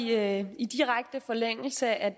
det er i direkte forlængelse af